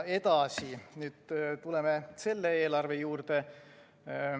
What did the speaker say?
Edasi, nüüd tuleme selle eelarve juurde.